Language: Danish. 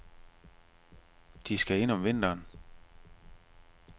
De skal ind om vinteren.